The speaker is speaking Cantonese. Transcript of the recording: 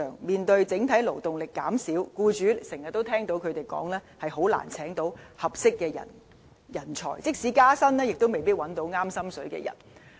面對整體勞動力減少，我們經常聽到僱主說很難聘請合適的人才，即使加薪亦未必找到合適人選。